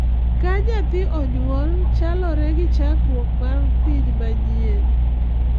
Ka nyathi onyuol, chalore gi chakruok mar piny manyien.